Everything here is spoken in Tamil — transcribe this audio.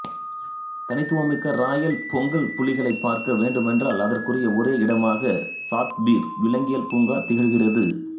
தனித்துவம் மிக்க ராயல் பெங்கால் புலிகளைப் பார்க்கவேண்டுமென்றால் அதற்குரிய ஒரே இடமாக சாத்பீர் விலங்கியல் பூங்கா திகழ்கிறது